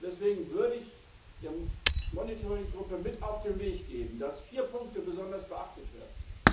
Deswegen würde ich der Monitoring Gruppe mit auf den Weg geben, dass vier Punkte besonders beachtet werden.